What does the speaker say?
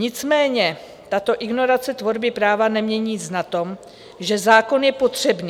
Nicméně tato ignorace tvorby práva nemění nic na tom, že zákon je potřebný.